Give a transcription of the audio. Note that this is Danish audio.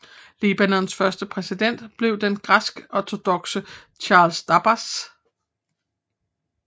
Libanons første præsident blev den græskortodokse Charles Dabbas